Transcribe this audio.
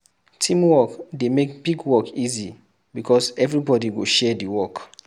Teamwork dey make big work easy because everybody go share di work